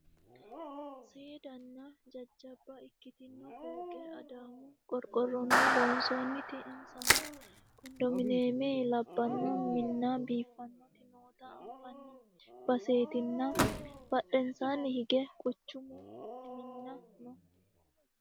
seedanna jajjabba ikkitino fooqe adaamu qorqorronni lonsoonnite insano kondomineeme labbanno minna biiffannoti noota anfanni baseetinna badhensaanni hige quchumu minna no